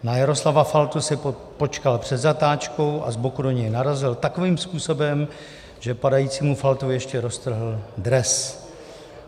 Na Jaroslava Faltu si počkal před zatáčkou a z boku do něj narazil takovým způsobem, že padajícímu Faltovi ještě roztrhl dres.